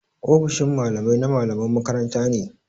Ofishin Mallamai na mallaman makaranta ne.